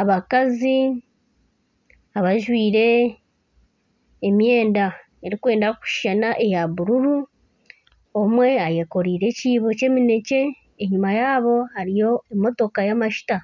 abakazi abajwire emyenda erikwenda kushushana eya bururu, omwe ayekoreiire ekiibo ky'emineekye, enyima yaabo hariyo emotoka y'amajuta